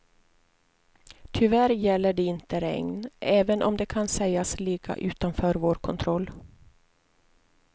Tyvärr gäller det inte regn, även om det kan sägas ligga utanför vår kontroll.